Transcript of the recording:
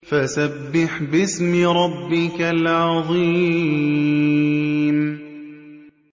فَسَبِّحْ بِاسْمِ رَبِّكَ الْعَظِيمِ